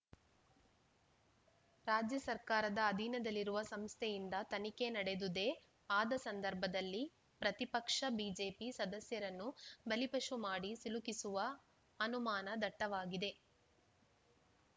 ರಾಜ್ಯ ಸರ್ಕಾರದ ಅಧೀನದಲ್ಲಿರುವ ಸಂಸ್ಥೆಯಿಂದ ತನಿಖೆ ನಡೆದುದೇ ಆದ ಸಂದರ್ಭದಲ್ಲಿ ಪ್ರತಿಪಕ್ಷ ಬಿಜೆಪಿ ಸದಸ್ಯರನ್ನು ಬಲಿಪಶು ಮಾಡಿ ಸಿಲುಕಿಸುವ ಅನುಮಾನ ದಟ್ಟವಾಗಿದೆ